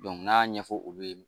n'a ɲɛfɔ olu ye